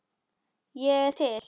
Ég er til